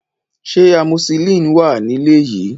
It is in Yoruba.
Ṣé amoxicillin wà nílé yìí?